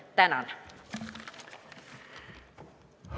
Tänan!